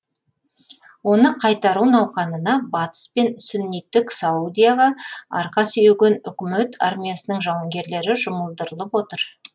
оны қайтару науқанына батыс пен сүнниттік саудияға арқа сүйеген үкімет армиясының жауынгерлері жұмылдырылып отыр